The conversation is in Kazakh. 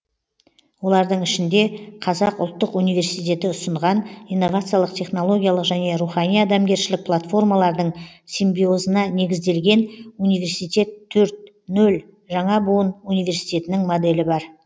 олардың ішінде қазақ ұлттық университеті ұсынған инновациялық технологиялық және рухани адамгершілік платформалардың симбиозына негізделген университет төрт нөл жаңа буын университетінің моделі бар